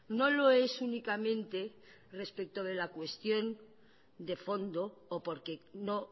no lo es únicamente respecto de la cuestión de fondo o porque no